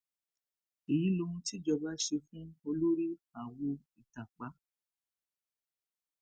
èyí lohun tíjọba ṣe fún olórí àwo ìtàpá